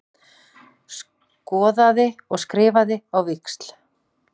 Skoðaði og skrifaði á víxl.